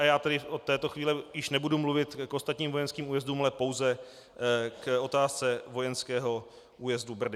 A já tedy od této chvíle již nebudu mluvit k ostatním vojenským újezdům, ale pouze k otázce vojenského újezdu Brdy.